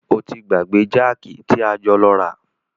O ti gbàgbé jákì tí a jọ lọ rà.